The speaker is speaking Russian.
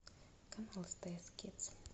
канал стс кидс